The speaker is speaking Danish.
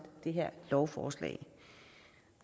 det her lovforslag